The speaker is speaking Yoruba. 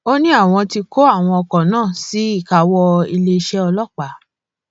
ó ní àwọn ti kó àwọn ọkọ náà sí ìkáwọ iléeṣẹ ọlọpàá